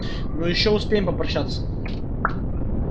ну ещё успеем попрощаться